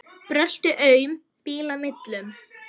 Brölti aum bíla millum.